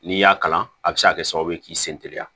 N'i y'a kalan a bɛ se ka kɛ sababu ye k'i sen teliya